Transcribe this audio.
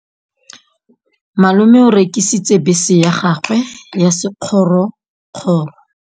Malome o rekisitse bese ya gagwe ya sekgorokgoro.